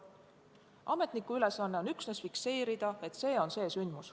Ametniku ülesanne on üksnes fikseerida, et see on see sündmus.